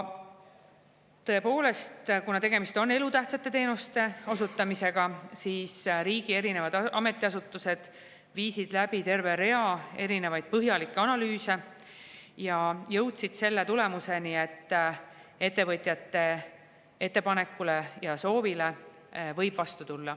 Tõepoolest, kuna tegemist on elutähtsate teenuste osutamisega, tegid riigi erinevad ametiasutused terve hulga põhjalikke analüüse ning jõudsid selle tulemuseni, et ettevõtjate ettepanekule ja soovile võib vastu tulla.